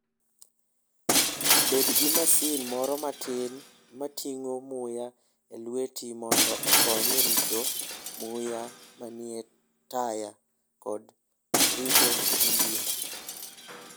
Bed gi masin moro matin ma ting'o muya e lweti mondo okony e rito muya manie taya kod rito injin.